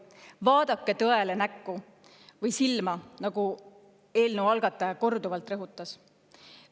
Vaadake tõele näkku või silma, nagu eelnõu algataja korduvalt rõhutas.